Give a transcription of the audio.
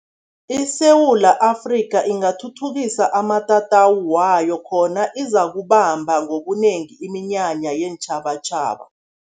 ISewula Afrika, ingathuthukisa amatatawu wayo khona izakubamba ngobunengi iminyanya yeentjhabatjhaba.